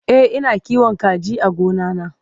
e Ina kiwon kaji a gona na